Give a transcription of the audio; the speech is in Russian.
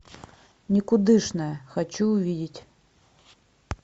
никудышная хочу увидеть